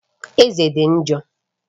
Eze dị njọ